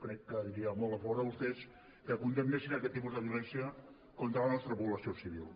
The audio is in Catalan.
crec que diria molt a favor de vostès que condemnessin aquest tipus de violència contra la nostra població civil